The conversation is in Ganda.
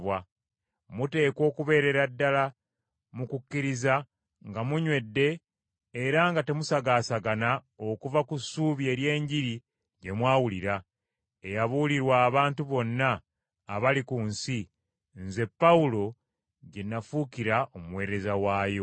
Muteekwa okubeerera ddala mu kukkiriza nga munywedde era nga temusagaasagana okuva mu ssuubi ery’Enjiri gye mwawulira, eyabuulirwa abantu bonna abali ku nsi, nze Pawulo gye nafuukira omuweereza waayo.